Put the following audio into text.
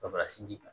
Ka fara sinji kan